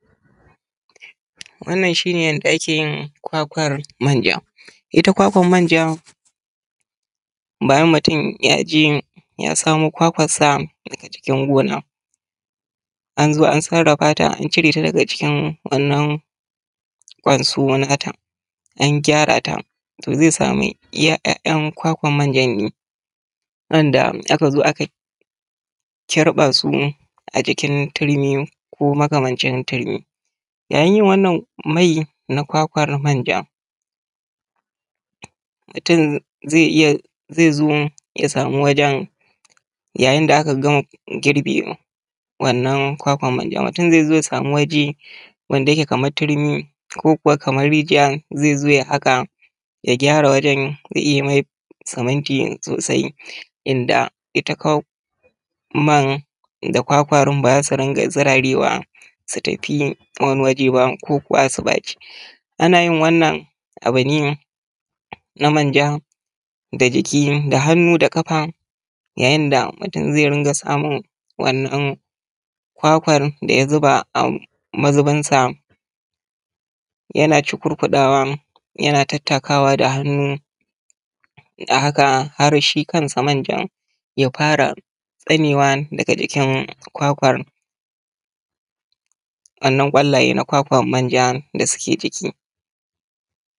Wannan shi ne yanda ake yin kwakwan manja. Ita kwakwan manja bayan mutun ya je ya samo kwakwan sa da ke cikin gona, an zo an sarafa ta an cire ta daga cikin wannan kwansuwo na ta, an gyara ta. To zai samu iya ‘ya’yan kwakwan manja ne wanda aka zo aka kirɓa su a cikin tirmi ko makamancin tirmi, yayin yin wannan mai na kwakwan manja, mutun zai iya zai zo ya samu wajan yayin da aka gama girbe wannan kwakwan manja, mutun zai zo ya samu waje wanda yake kamar turmi ko kuwa kamar rijiya, zai zo ya haƙa, ya gyara wajan ya iya yi mai siminti sosai, inda ita man da kwakwan ba za su ringa zuraye wa ba su tafi wani waje ba ko kuwa su ɓaci. Ana yin wannan abu ne na manja da jiki, da hannu, da kafa, yayin da mutun zai ringa samun wannan kwakwan da ya zuba a mazubinsa yana cukurkuɗawa yana tattakawa da hannu, a haka har shi kansa manja ya fara tsanewa daga jikin kwakwan. Wannan ƙwallayan na kwakwan manja da suke.